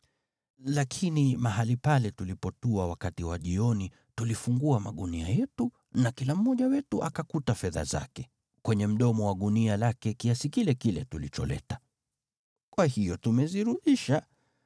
Lakini mahali pale tulipotua wakati wa jioni tulifungua magunia yetu, na kila mmoja wetu akakuta fedha zake, kwenye mdomo wa gunia lake kiasi kile kile tulicholeta. Kwa hiyo tumezirudisha.